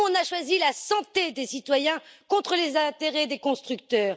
Nous, nous avons choisi la santé des citoyens contre les intérêts des constructeurs.